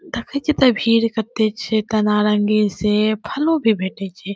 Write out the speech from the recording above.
देखे छीये एते भीड़ कते छै एता नारंगी सेब फलों भी भेटे छै।